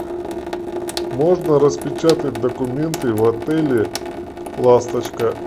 можно распечатать документы в отеле ласточка